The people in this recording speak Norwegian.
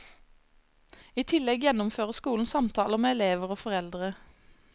I tillegg gjennomfører skolen samtaler med elever og foreldre.